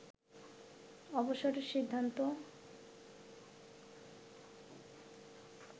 অবসরের সিদ্ধান্ত